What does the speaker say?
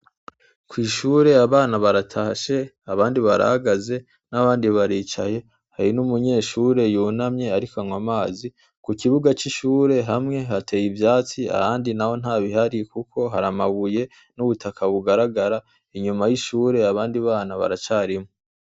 Kw'ishure abana baratashe abandi barahagaze n'abandi baricaye, hari n'umunyeshure yicaye arik'anwa amazi. Ku kibuga c'ishure hamwe hatey'ivyatsi ahandi naho ntabihari, kuko har'amabuye nubutaka bigaragara. Inyuma y'ishure abandi bana baracariho.